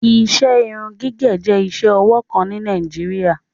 Iṣẹ irun-gigẹ jẹ̀ iṣẹ-ọwọ kan ni Nàìjíríà